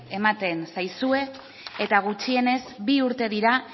ematen zaizue eta gutxienez bi urte dira